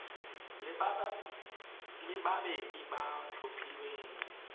le babedi ba ba tlhophilweng